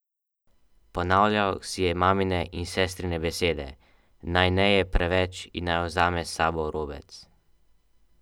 Ponavljal si je mamine in sestrine besede, naj ne je preveč in naj vzame s sabo robec.